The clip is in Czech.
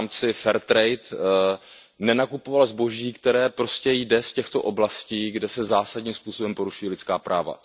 v rámci fair trade nenakupoval zboží, které prostě jde z těchto oblastí, kde se zásadním způsobem porušují lidská práva.